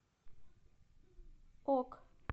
ок